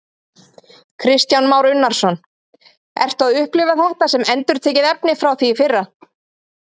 Kristján Már Unnarsson: Ertu að upplifa þetta sem endurtekið efni frá því í fyrra?